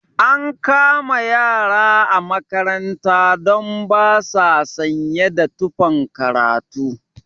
An kama ƴara a makaranta don ba sa sanye da tufan karatu